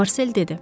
Marsel dedi: